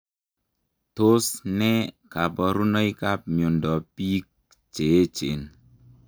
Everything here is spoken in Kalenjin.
Tos nee kabarunoik ap miondop piik cheechen?